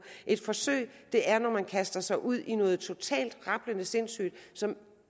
et forsøg er når man kaster sig ud i noget totalt rablende sindssygt som